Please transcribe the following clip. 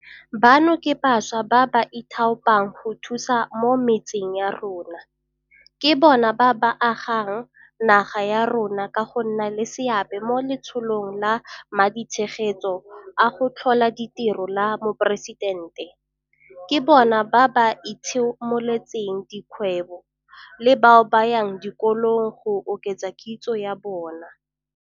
Bano ke bašwa ba ba ithaopang go thusa mo metseng ya rona, ke bona ba ba agang naga ya rona ka go nna le seabe mo Letsholong la Maditshegetso a go Tlhola Ditiro la Moporesitente, ke bona ba ba itshimoletseng dikgwebo le bao ba yang dikolong go oketsa kitso ya bona.